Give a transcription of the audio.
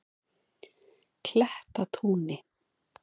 Klettatúni